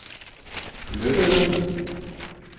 flyttede